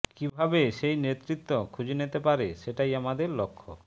কীভাবে সেই নেতৃত্ব খুঁজে নিতে পারে সেটাই আমাদের লক্ষ্য